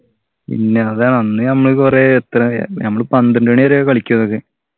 പിന്നെ അതാണ് അന്ന് നമ്മള് കൊറേ എത്രയാ നമ്മള് പന്ത്രണ്ടു മണി വരെയൊക്കെ കളിക്കു അതൊക്കെ